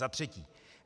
Za třetí.